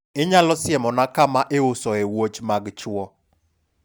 inyalo siemona kama iusoe wuoch mag chuwo?